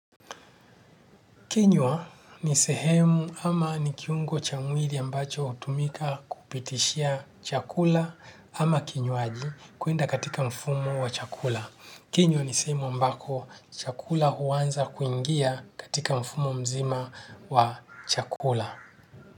Kinywa ni sehemu ama ni kiungo cha mwili ambacho hutumika kupitishia chakula ama kinywaji kuenda katika mfumo wa chakula. Kinywa ni sehemu ambako chakula huanza kuingia katika mfumo mzima wa chakula.